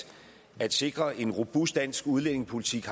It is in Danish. at sikre en robust dansk udlændingepolitik